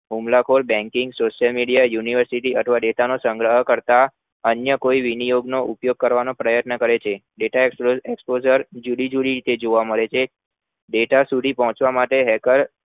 હુમલા ખોર baanking Social university નો સંગ્રહ કરતા અન્ય કોઈ વિનિયોગ નો ઉપયોગ કરવાનો પ્રયત્ન કરે છે ત્યાં data Explosser જુદી જુદી રીતે જોવા મળે છે data સુધી પહોંચવા માટે hacker